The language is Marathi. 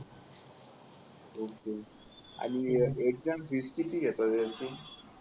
ओके आणि एक्झाम फीस किती घेतात त्यांची